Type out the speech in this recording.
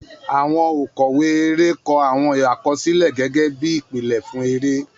Àwọn òkọ̀wé eré kọ àwọn àkọsílẹ̀ gẹ́gẹ́ bí ìpìlẹ̀ fún eré.